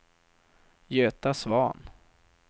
Göta Svahn